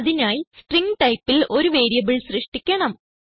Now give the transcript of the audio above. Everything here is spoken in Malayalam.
അതിനായി സ്ട്രിംഗ് typeൽ ഒരു വേരിയബിൾ സൃഷ്ടിക്കണം